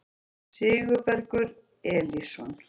Sigurbergur Elísson